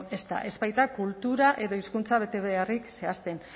ez da ez baita kultura edo hizkuntza betebeharrik zehazten